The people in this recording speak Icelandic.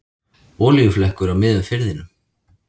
Olíuflekkur á miðjum firðinum